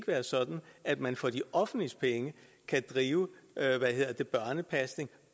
være sådan at man for det offentliges penge kan drive børnepasning